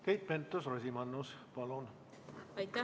Keit Pentus-Rosimannus, palun!